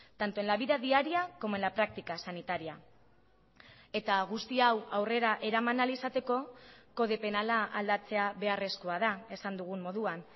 tanto en la vida diaria como en la práctica sanitaria eta guzti hau aurrera eraman ahal izateko kode penala aldatzea beharrezkoa da esan dugun moduan